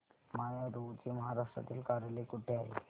माय Advo चे महाराष्ट्रातील कार्यालय कुठे आहे